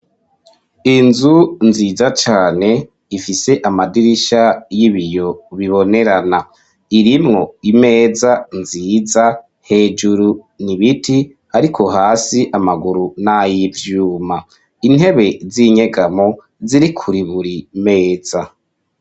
Inzu nziza cane ifise amadirisha y'ibiyo bibonerana. Irimwo imeza nziza, hejuru ni ibiti, ariko hasi amaguru n'ayivyuma. Intebe z'inyegamo ziri kuri buri meza.